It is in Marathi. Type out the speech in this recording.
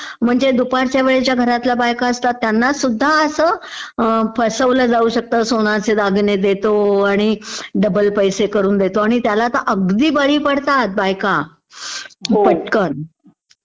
म्हणजे दुपारच्या वेळत घरात ज्या बायका असतात त्यांना सुध्दा असं फसवलं जाऊ शकतं, सोन्याचे दागिने देतो आणि डबल करून देतो त्याला तर अगदी बळी पडतात बायका पटकन